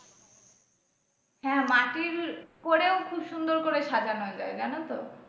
হ্যাঁ মাটির করেও খুব সুন্দর করে সাজানো যায়, জানো তো।